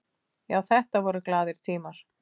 Já, þetta voru glaðir tímar.